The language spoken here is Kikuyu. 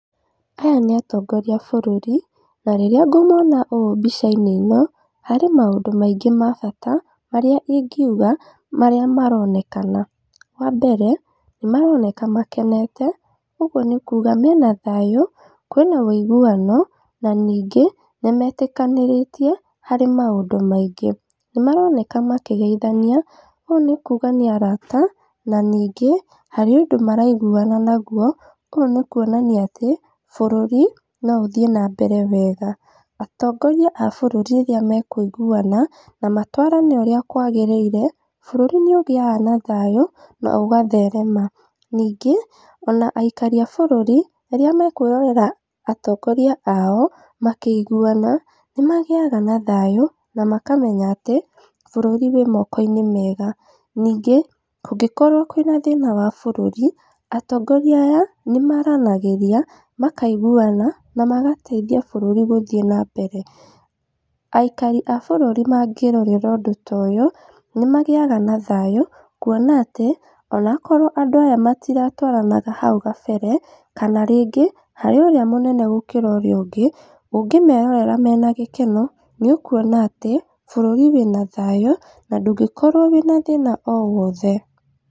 Aya nĩ atongoria a bũrũri. Na rĩrĩa ngũmona ũũ mbicainĩ ĩno, harĩ maũndũ maĩngĩ ma bata marĩa ingiuga marĩa maronekana. Wambere nĩ maroneka makenete. Ũguo nĩ kuga mena thayũ, kwĩna uiguano, na ningĩ nĩmetĩkĩranĩtie harĩ maũndũ maingĩ. Nĩ maroneka makĩgeithania. Ũũ nĩ kuga nĩ arata na ningĩ, harĩ ũndũ maraiguana naguo. Ũũ nĩ kuonania atĩ bũrũri no ũthiĩ nambere wega. Atongoria a bũrũri rĩrĩa mekũiguana na matwarane ũrĩa kwagĩriire, bũrũri nĩ ũgiaga na thayũ na ũgatherema. Ningĩ ona aikari a bũrũri rĩrĩa mekwirorera atongoria aao makĩiguana, nĩ magiaga na thayũ na makamenya atĩ bũrũri wĩ mokoinĩ mega. Ningĩ, kũngĩkorwo kwĩna thĩna wa bũrũri, atongoria aya nĩ maranagĩria, makaiguana, na magateithia burũri gũthiĩ na mbere. Aikari a bũrũri mangĩrorera ũndũ ta ũyũ, nĩ magĩaga na thayũ, kuona atĩ ona akorwo andũ aya matiratwaranaga hau kabere, kana rĩngĩ harĩ ũrĩa mũnene gũkĩra ũrĩa ũngĩ, ũngĩmerorera mena gĩkeno nĩ ũkuona atĩ, bũrũri wĩna thayũ, na ndũngĩkorwo wĩna thĩna o wothe.